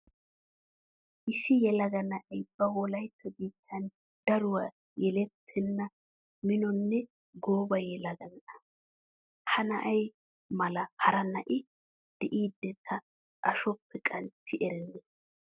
Issi yelaga na'ay ba wolaytta biittan daruwa yeellatenna minonne gooba yelaga na'a. Ha na'aa mala hara na'i de'idi ta ashuwappe qanxxi erennee.